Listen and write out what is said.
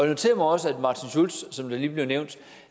noterer mig også som det lige blev nævnt